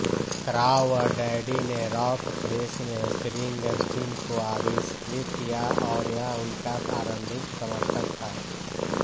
Crawdaddy ने rock press में Springsteen को आविष्कृत किया और यह उनका आरंभिक समर्थक था